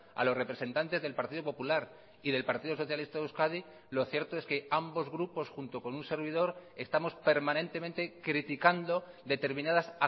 a los representantes del partido popular y del partido socialista de euskadi lo cierto es que ambos grupos junto con un servidor estamos permanentemente criticando determinadas